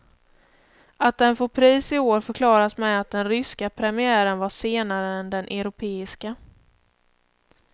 Att den får pris i år förklaras med att den ryska premiären var senare än den europeiska.